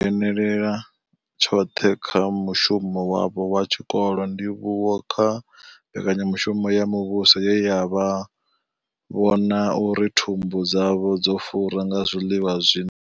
dzhenela tshoṱhe kha mushumo wavho wa tshikolo, ndivhuwo kha mbekanya mushumo ya muvhuso ye yavha vhona uri thumbu dzavho dzo fura nga zwiḽiwa zwi.